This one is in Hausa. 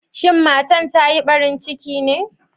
Shin matan ta Yi barin ciki ne?